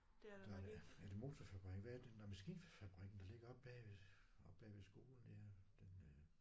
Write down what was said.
Der er er det motorfabrikken hvad er det nåh maskinfabrikken der ligger oppe bag ved oppe bag ved skolen ja den øh